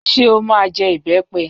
Ṣé o máa jẹ ìbẹ́pẹ?